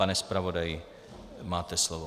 Pane zpravodaji, máte slovo.